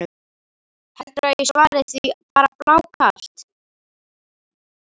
Heldurðu að ég svari því bara blákalt?